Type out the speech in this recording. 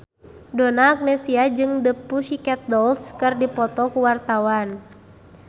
Donna Agnesia jeung The Pussycat Dolls keur dipoto ku wartawan